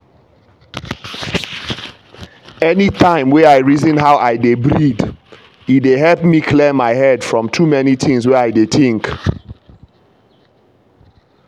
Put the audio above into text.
anytime wey i reason how i dey breathe e dey help me clear my head from too many things wey i dey think.